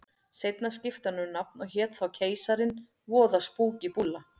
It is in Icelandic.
Seinna skipti hann um nafn og hét þá Keisarinn, voða spúkí búlla.